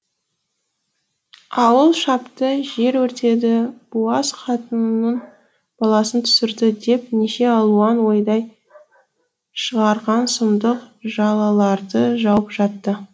ауыл шапты жер өртеді буаз қатынның баласын түсірді деп неше алуан ойдай шығарған сұмдық жалаларды жауып жатты